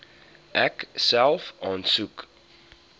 ek self aansoek